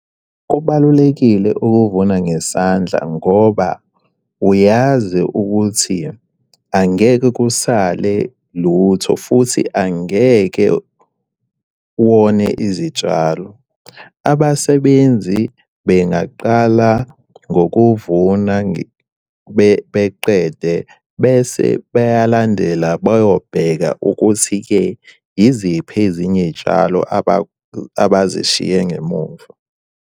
Kubalulekile ukuvuna ngesandla ngoba uyazi ukuthi angeke kusale lutho futhi angeke wone izitshalo. Abasebenzi bengaqala ngokuvuna beqede bese beyalandela beyobheka ukuthi-ke iziphi ezinye iy'tshalo abazishiye ngemumva.